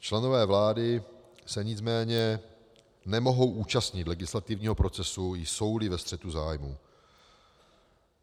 Členové vlády se nicméně nemohou účastnit legislativního procesu, jsou-li ve střetu zájmů.